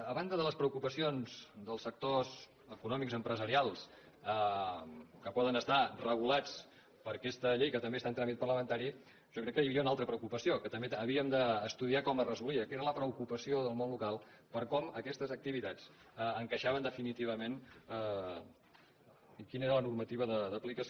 a banda de les preocupacions dels sectors econòmics empresarials que poden estar regulats per aquesta llei que també està en tràmit parlamentari jo crec que hi havia una altra preocupació que també havíem d’estudiar com es resolia que era la preocupació del món local per com aquestes activitats encaixaven definitivament i quina era la normativa d’aplicació